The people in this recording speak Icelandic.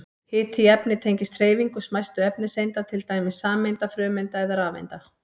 Hiti í efni tengist hreyfingu smæstu efniseinda, til dæmis sameinda, frumeinda eða rafeinda.